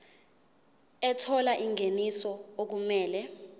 ethola ingeniso okumele